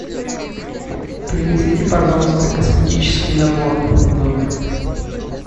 принесите пожалуйста косметический набор в номер